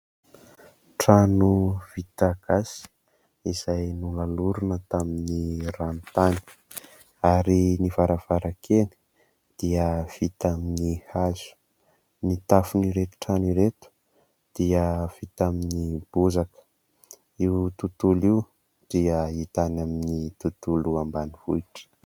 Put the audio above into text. Trano vita gasy izay nolalorina tamin' ny ranotany ary ny varavarankely dia vita amin' ny hazo, ny tafon' ireto trano ireto dia vita amin' ny bozaka. Io tontolo io dia hita any amin' ny tontolo ambanivohitra.